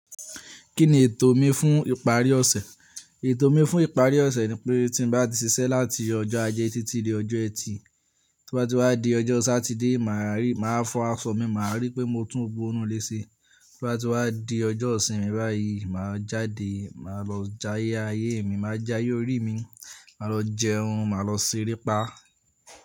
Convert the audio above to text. Kí ni ètò mi fún ìparí ọ̀sẹ̀? Ètò mi fún ìparí ọ̀sẹ̀ ni pé tí mo bá ti ṣiṣẹ́ láti ọjọ́ ajé títí dé ọjọ́ ẹtì, to bá ti wá di ọjọ́ Sátidé, màá rí, màá fọ aṣọ mi, màá rí pé mo tún gbó inu le ṣe. Tí bá ti wá di ọjọ́ ìsinmi báyìí, màá jáde, màá lọ jayé ayé mi, màá já ye orí mi, màá lọ jẹun, màá lọ ṣere pá.